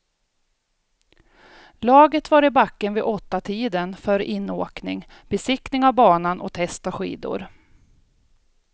Laget var i backen vid åttatiden för inåkning, besiktning av banan och test av skidor.